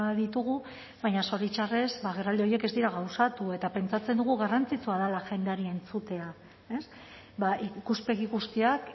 ditugu baina zoritxarrez agerraldi horiek ez dira gauzatu eta pentsatzen dugu garrantzitsua dela jendeari entzutea ez ikuspegi guztiak